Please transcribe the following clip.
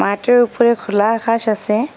মাঠের উপরে খোলা ঘাস আসে।